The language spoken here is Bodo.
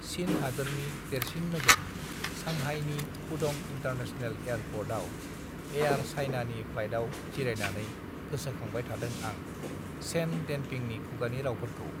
चीन हादोरनि देरसिन नोगोर सांहाइनि पुडं इन्टारनेसनेल एयारपर्ट आव एयारर चाइना नि प्लाइटआव जिरायनानै गोसो खांबाय थादों आं सेन देनपिंनि खुगानि रावफोरखौ